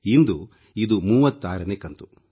ಇಂದು ಇದು 36ನೇ ಕಂತು